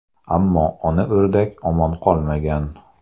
Ammo ona o‘rdak omon qolmagan.